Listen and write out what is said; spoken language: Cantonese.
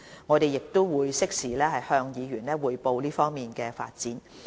我們會適時向議員匯報這方面的進展。